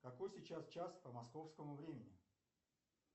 какой сейчас час по московскому времени